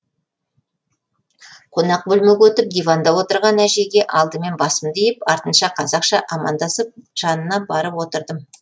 қонақ бөлмеге өтіп диванда отырған әжейге алдымен басымды иіп артынша қазақша амандасып жанына барып отырдым